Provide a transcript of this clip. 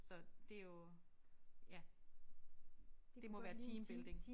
Så det jo ja det må være teambuilding